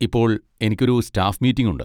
ഇപ്പോൾ എനിക്കൊരു staff meeting ഉണ്ട്.